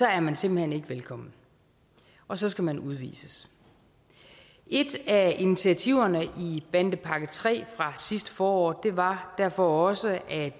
er man simpelt hen ikke velkommen og så skal man udvises et af initiativerne i bandepakke iii fra sidste forår var derfor også at